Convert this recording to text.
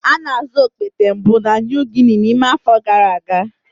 A na-azụ okpete mbụ na New Guinea n'ime afọ gara aga.